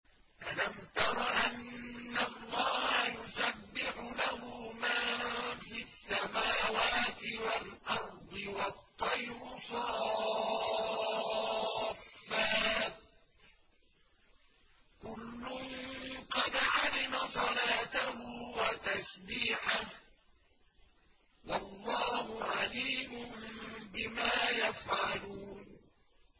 أَلَمْ تَرَ أَنَّ اللَّهَ يُسَبِّحُ لَهُ مَن فِي السَّمَاوَاتِ وَالْأَرْضِ وَالطَّيْرُ صَافَّاتٍ ۖ كُلٌّ قَدْ عَلِمَ صَلَاتَهُ وَتَسْبِيحَهُ ۗ وَاللَّهُ عَلِيمٌ بِمَا يَفْعَلُونَ